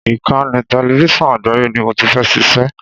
Ìkànnì tẹlẹfísọ̀n Àgbáyé ni mo ti fẹ́ ṣiṣẹ́.